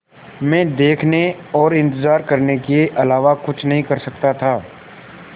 मैं देखने और इन्तज़ार करने के अलावा कुछ नहीं कर सकता था